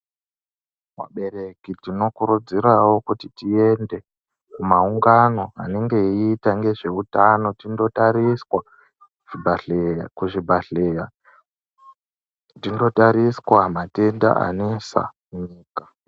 Vabereki tinokurudzirawo kuti tiende wo kumaungano anenge eyiita nezveutano tinotariswa kuzvibhedhlera tinotariswa matenda anesa.